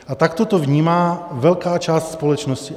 A takto to vnímá velká část společnosti.